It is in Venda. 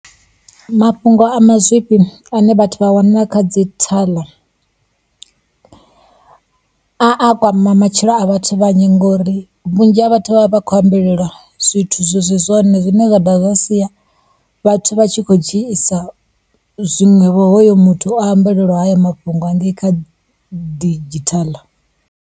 Mafhungo a mazwifhi ane vhathu vha a wana kha dzhithala, a a kwama matshilo a vhathu vhanzhi ngauri vhunzhi ha vhathu vha vha vha khou ambelelwa zwithu zwi si zwone. Zwine zwa dovha zwa siya vhathu vha tshi khou dzhiisa zwinwevho hoyo muthu o ambelelwaho haya mafhungo hangei kha didzhithala.